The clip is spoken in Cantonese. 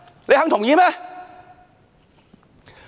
你們肯同意嗎？